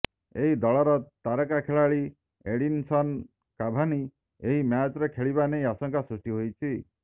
ଏହି ଦଳର ତାରକା ଖେଳାଳି ଏଡିନସନ୍ କାଭାନି ଏହି ମ୍ୟାଚ୍ରେ ଖେଳିବା ନେଇ ଆଶଙ୍କା ସୃଷ୍ଟି ହୋଇଛି